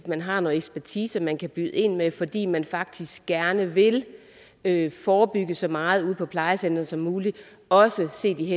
man har noget ekspertise man kan byde ind med fordi man faktisk gerne vil vil forebygge så meget ude på plejecentrene som muligt også set i